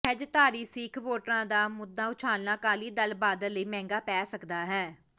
ਸਹਿਜਧਾਰੀ ਸਿਖ ਵੋਟਰਾਂ ਦਾ ਮੁਦਾ ਉਛਾਲਣਾ ਅਕਾਲੀ ਦਲ ਬਾਦਲ ਲਈ ਮਹਿੰਗਾ ਪੈ ਸਕਦਾ ਹੈ